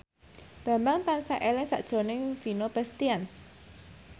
Bambang tansah eling sakjroning Vino Bastian